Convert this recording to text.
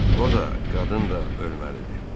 O da, qadın da ölməlidir.